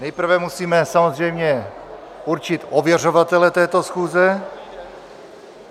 Nejprve musíme samozřejmě určit ověřovatele této schůze.